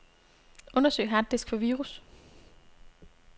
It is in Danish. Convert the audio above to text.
Undersøg harddisk for virus.